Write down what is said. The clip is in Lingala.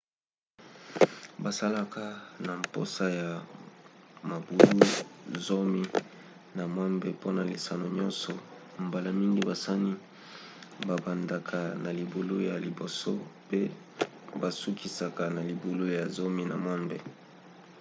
bazalaka na mposa ya mabulu zomi na mwambe mpona lisano nyonso mbala mingi basani babandaka na libulu ya liboso pe basukisaka na libublu ya zomi na mwambe